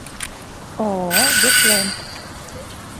ооо ветленд